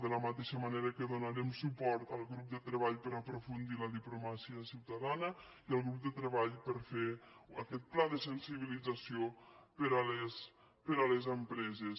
de la mateixa manera que donarem suport al grup de treball per a aprofundir la diplomàcia ciutadana i al grup de treball per a fer aquest pla de sensibilització per a les empreses